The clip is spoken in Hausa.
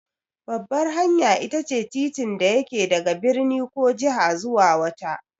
Babbar hanya itace titin da yake daga birni ko jiha zuwa wata.